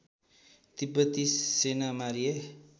तिब्बती सेना मारिए